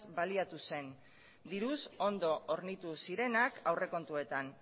baliatu zen diruz ondo hornitu zirenak aurrekontuetan